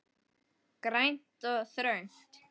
Grænt og þröngt.